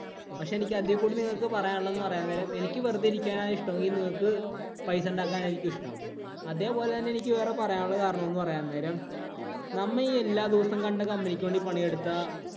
പക്ഷേ എനിക്ക് അതീ കൂടി നിങ്ങക്ക് പറയാന്‍ ഉള്ളത് എന്നു പറയാൻ നേരം എനിക്ക് വെറുതെ ഇരിക്കാനാണ് ഇഷ്ടമെങ്കില്‍ നിങ്ങക്ക് പൈസ ഉണ്ടാക്കാനായിരിക്കും ഇഷ്ടം. അതേപോലെ തന്നെ എനിക്ക് വേറെ പറയാന്‍ ഉള്ള കാരണം പറയാന്നേരം. നമ്മ ഈ എല്ലാ ദിവസവും കണ്ട company ഇക്ക് വേണ്ടി പണിയെടുത്താ